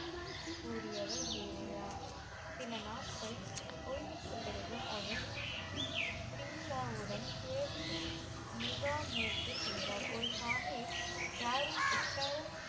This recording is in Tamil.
கூறியவர் தேவையா சில நாட்கள் ஓய்வுக்கு பிறகு அவர் சிங்காவுடன் துறவி முகா மூக்க சென்றார் ஒரு சாகிப் யாரும் உட்க்கார